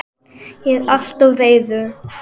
Ég er alltof reiður.